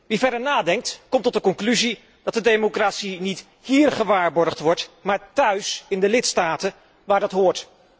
Wie verder nadenkt, komt tot de conclusie dat de democratie niet híer gewaarborgd wordt, maar thuis in de lidstaten, waar dat hoort.